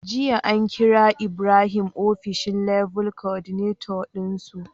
Jiya an kira ibrahim ofishin Level Coordinator din su